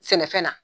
Sɛnɛfɛn na